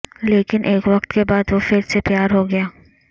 لیکن ایک وقت کے بعد وہ پھر سے پیار ہو گیا